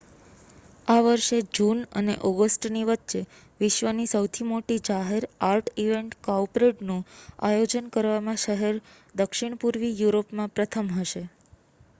આ વર્ષે જૂન અને ઑગસ્ટની વચ્ચે વિશ્વની સૌથી મોટી જાહેર આર્ટ ઇવેન્ટ કાઉપરેડનું આયોજન કરવામાં શહેર દક્ષિણપૂર્વી યુરોપમાં પ્રથમ હશે